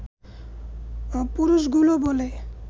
পুরুষগুলো বলে